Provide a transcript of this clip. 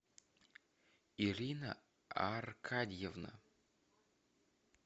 ирина аркадьевна